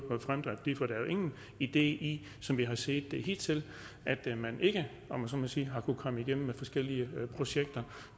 ingen idé i som vi har set det hidtil at man ikke om jeg så må sige har kunnet komme igennem med forskellige projekter